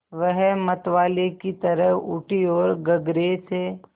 वह मतवाले की तरह उठी ओर गगरे से